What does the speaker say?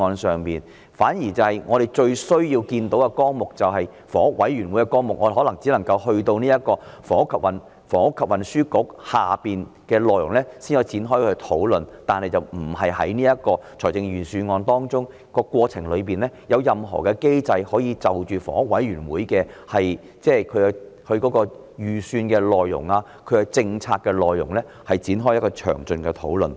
相反地，我們最需要看到的綱領是有關房委會的綱領，但我們可能只能夠去到運輸及房屋局的項目下才能夠展開討論，但這卻並不包括在預算案當中，而過程中也沒有任何機制可容許就着房委會的預算和政策內容展開詳盡討論。